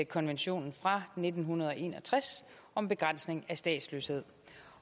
konventionen fra nitten en og tres om begrænsning af statsløshed